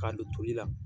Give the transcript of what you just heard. K'a don toli la